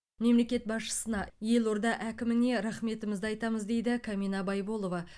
мемлекет басшысына елорда әкіміне рахметімізді айтамыз дейді камина байболова